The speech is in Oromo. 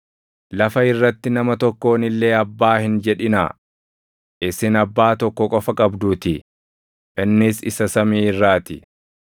Lafa irratti nama tokkoon illee ‘Abbaa’ hin jedhinaa; isin Abbaa tokko qofa qabduutii; innis isa samii irraa ti.